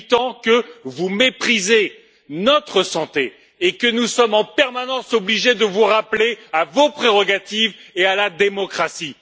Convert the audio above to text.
fait huit ans que vous méprisez notre santé et que nous sommes en permanence obligés de vous rappeler à vos prérogatives et à la démocratie.